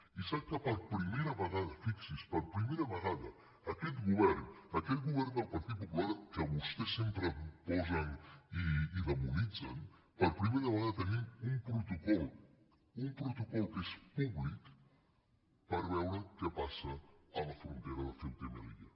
i sap que per primera vegada fixi’s per pri·mera vegada aquest govern aquest govern del par·tit popular que vostès sempre posen i dimonitzen per primera vegada tenim un protocol un protocol que és públic per veure què passa a la frontera de ceuta i melilla